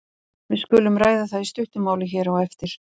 Við skulum ræða það í stuttu máli hér á eftir.